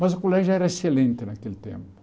Mas o colégio era excelente naquele tempo.